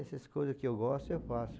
Essas coisas que eu gosto, eu faço.